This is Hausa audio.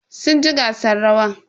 Sun ci gasan rawan.